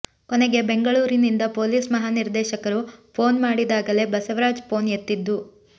ಕೊನೆಗೆ ಬೆಂಗಳೂರಿನಿಂದ ಪೊಲೀಸ್ ಮಹಾನಿರ್ದೇಶಕರು ಫೋನ್ ಮಾಡಿದಾಗಲೇ ಬಸವರಾಜ್ ಫೋನ್ ಎತ್ತಿದ್ದು